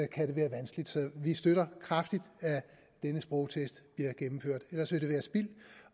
kan det være vanskeligt så vi støtter kraftigt at denne sprogtest bliver gennemført ellers vil det være spild